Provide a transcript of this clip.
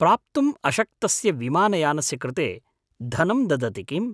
प्राप्तुम् अशक्तस्य विमानयानस्य कृते धनं ददति किम्?